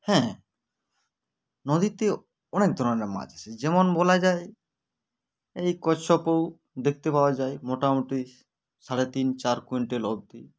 হ্যা নদীতে অনেক ধরনের মাছ আছে যেমন বলা যায় এই কচ্ছপউ দেখতে পাওয়া যায় মোটামুটি সাড়ে তিন চার quintal অবদি